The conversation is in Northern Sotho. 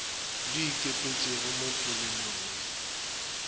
di ikepetpego mo polelong le